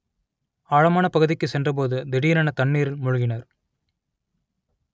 ஆழமான பகுதிக்கு சென்றபோது திடீரென தண்ணீரில் மூழ்கினர்